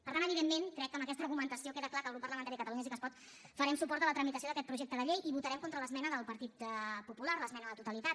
per tant evidentment crec que amb aquesta argumentació queda clar que el grup parlamentari de catalunya sí que es pot farem suport a la tramitació d’aquest projecte de llei i votarem contra l’esmena del partit popular l’esmena a la totalitat